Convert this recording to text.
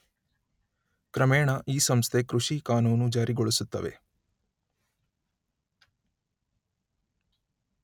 ಕ್ರಮೇಣ ಈ ಸಂಸ್ಥೆ ಕೃಷಿ ಕಾನೂನು ಜಾರಿಗೊಳಿಸುತ್ತವೆ